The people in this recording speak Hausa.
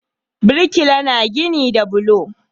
Birkila na gini da bulo